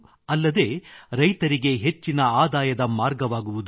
ಅಲ್ಲದೆ ರೈತರಿಗೆ ಹೆಚ್ಚಿನ ಆದಾಯದ ಮಾರ್ಗವಾಗುವುದು